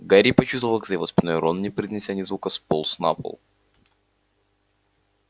гарри почувствовал как за его спиной рон не произнеся ни звука сполз на пол